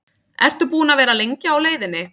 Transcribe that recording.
Ertu búinn að vera lengi á leiðinni?